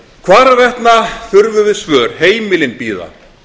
hvarvetna þurfum við svör heimilin bíða